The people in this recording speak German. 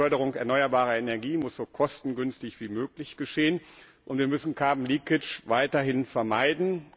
Die Förderung erneuerbarer Energie muss so kostengünstig wie möglich geschehen, und wir müssen weiterhin vermeiden.